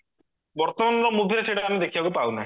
ବର୍ତମାନର movie ରେ ସେଇଟାକୁ ଆମେ ଦେଖିବାକୁ ପାଉନହେ